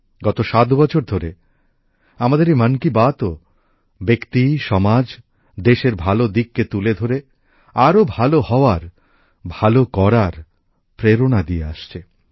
গত সাত বছর ধরে আমাদের এই মন কি বাতও ব্যক্তি সমাজ দেশের ভালো দিককে তুলে ধরে আরও ভালো হওয়ার ভালো করার প্রেরণা দিয়ে আসছে